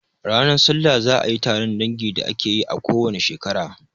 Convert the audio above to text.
Ranar salla za a yi taron dangin da ake yi a ko wane shekara.